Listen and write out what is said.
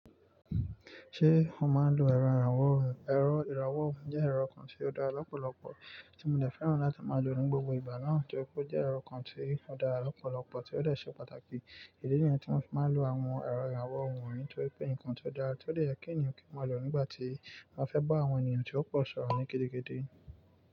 Ṣé o máa ń lo ẹ̀rọ ìrànwọ́ òhún? Ẹ̀rọ ìrànwọ́ òhún jẹ́ ẹ̀rọ kan tí ó dára lọ́pọ̀lọpọ̀ tí mo dè fẹ́ràn láti máa lò nínú gbogbo ìgbà náà torí pé ó jẹ́ ẹ̀rọ kan tí ó dára lọ́pọ̀lọpọ̀ tí ó dè ṣe pàtàkì. Idí níyen tí mo fi máa ń lo àwọn ẹ̀rọ ìrànwọ́ òhún nitorí pé nǹkan tí ó dára tí ó le yẹ kí èèyàn kí o máa lò nígbà tí wọ́n ba fẹ́ bá àwọn èèyàn tí ó pọ̀ sọ̀rọ̀ ní gidi gidi.